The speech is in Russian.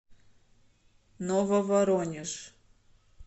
нововоронеж